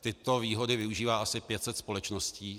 Tyto výhody využívá asi 500 společností.